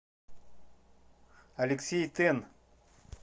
алексей тен